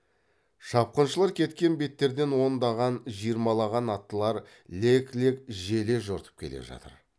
шапқыншылар кеткен беттерден ондаған жиырмалаған аттылар лек лек желе жортып келе жатыр